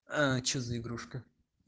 а что за игрушка